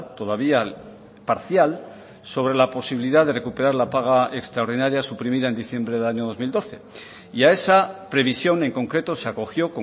todavía parcial sobre la posibilidad de recuperar la paga extraordinaria suprimida en diciembre del año dos mil doce y a esa previsión en concreto se acogió